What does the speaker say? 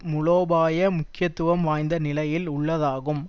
மூலோபாய முக்கியத்துவம் வாய்ந்த நிலையில் உள்ளதாகும்